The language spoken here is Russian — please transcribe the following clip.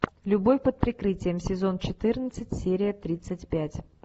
любовь под прикрытием сезон четырнадцать серия тридцать пять